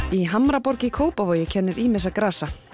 í Hamraborg í Kópavogi kennir ýmissa grasa